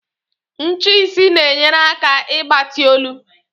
Ncheisi na-enyere aka ịgbati olu.